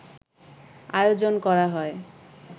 আয়োজন করা হয়